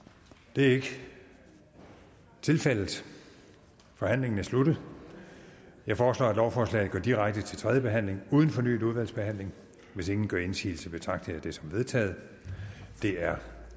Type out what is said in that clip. det er ikke tilfældet forhandlingen er sluttet jeg foreslår at lovforslaget går direkte til tredje behandling uden fornyet udvalgsbehandling hvis ingen gør indsigelse betragter jeg det som vedtaget det er